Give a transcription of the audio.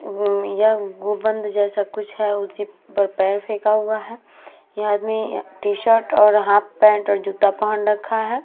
वो गुबंद जैसा कुछ है उसी पर पैर रखा हुआ है। यह आदमी टीशर्ट और हाफ पैंट और जूता पहन रखा है।